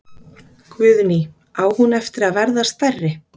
Guðný: Á hún eftir að verða stærri?